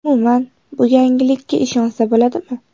umuman, bu yangilikka ishonsa bo‘ladimi?